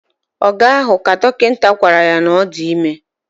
Oga ahu, ka dokita gwara ya na odime